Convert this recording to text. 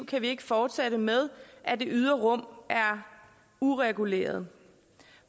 kan vi ikke fortsætte med at det ydre rum er ureguleret